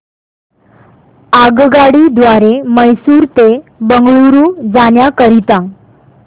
आगगाडी द्वारे मैसूर ते बंगळुरू जाण्या करीता